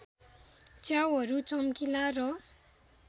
च्याउहरू चम्किला र